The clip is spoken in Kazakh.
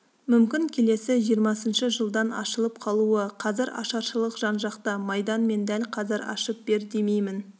мүмкін келесі жиырмасыншы жылдан ашылып қалуы қазір ашаршылық жан-жақта майдан мен дәл қазір ашып бер демеймін